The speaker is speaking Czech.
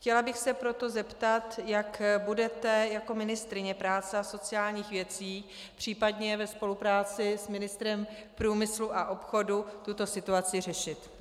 Chtěla bych se proto zeptat, jak budete jako ministryně práce a sociálních věcí, případně ve spolupráci s ministrem průmyslu a obchodu, tuto situaci řešit.